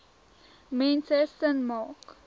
mense sin maak